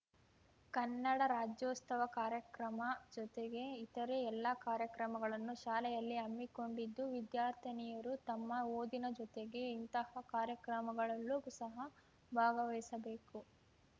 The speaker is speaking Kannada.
ಕನ್ನಡ ರಾಜ್ಯೋತ್ಸವ ಕಾರ್ಯಕ್ರಮ ಜೊತೆಗೆ ಇತರೆ ಎಲ್ಲ ಕಾರ್ಯಕ್ರಮಗಳನ್ನು ಶಾಲೆಯಲ್ಲಿ ಹಮ್ಮಿಕೊಂಡಿದ್ದು ವಿದ್ಯಾರ್ಥಿನಿಯರು ತಮ್ಮ ಓದಿನ ಜೊತೆಗೆ ಇಂತಹ ಕಾರ್ಯಕ್ರಮಗಳಲ್ಲೂ ಸಹ ಭಾಗವಹಿಸಬೇಕು